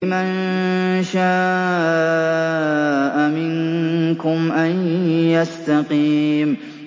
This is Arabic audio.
لِمَن شَاءَ مِنكُمْ أَن يَسْتَقِيمَ